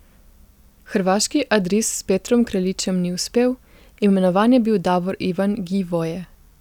Hrvaški Adris s Petrom Kraljičem ni uspel, imenovan je bil Davor Ivan Gjivoje.